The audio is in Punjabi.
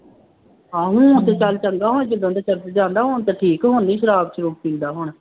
ਆਹੋ ਹੁਣ ਤੇ ਚੱਲ ਚੰਗਾ ਜਦੋਂ ਦਾ ਚਰਚ ਜਾਂਦਾ ਹੁਣ ਤਾਂ ਠੀਕ, ਹੁਣ ਨਹੀਂ ਸ਼ਰਾਬ ਸ਼ਰੂਬ ਪੀਂਦਾ ਹੁਣ